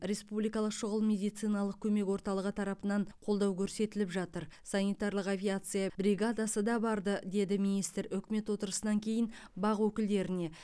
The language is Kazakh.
республикалық шұғыл медициналық көмек орталығы тарапынан қолдау көрсетіліп жатыр санитарлық авиация бригадасы да барды деді министр үкімет отырысынан кейін бақ өкілдеріне